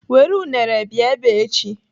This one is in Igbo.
Were unere bịa ebe a echi.